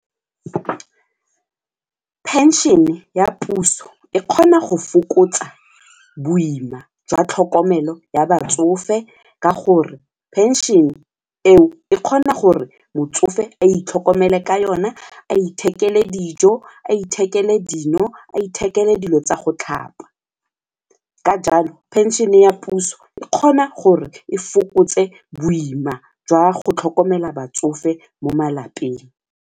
Pension-e ya puso e kgona go fokotsa boima jwa tlhokomelo ya batsofe ka gore pension-e eo e kgona gore motsofe a itlhokomele ka yone nna a ithekele dijo, a ithekele dino, a ithekele dilo tsa go tlhapa. Ka jalo pension e ya puso e kgona gore e fokotse boima jwa go tlhokomela batsofe mo malapeng.